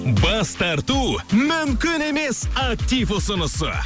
бас тарту мүмкін емес актив ұсынысы